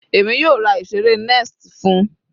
Èmi yóò ra ìseré nest fún-un.